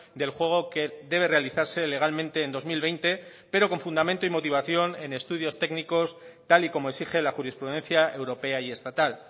del juego que debe realizarse legalmente en dos mil veinte pero con fundamento y motivación en estudios técnicos tal y como exige la jurisprudencia europea y estatal